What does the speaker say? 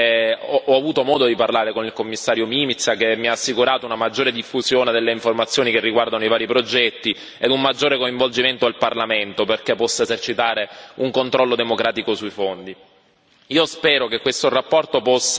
Ringrazio il Commissario per le osservazioni ho avuto modo di parlare con il Commissario Mimica, che mi ha assicurato una maggiore diffusione delle informazioni che riguardano i vari progetti e un maggiore coinvolgimento del Parlamento perché possa esercitare un controllo democratico sui fondi.